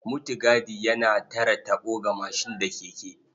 Mutigadi yana tare taɓo ga mashin da keke.